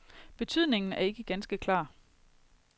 Betydningen er ikke ganske klar.